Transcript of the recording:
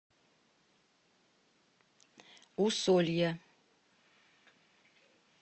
усолья